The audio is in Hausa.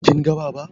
Kin ga Baba?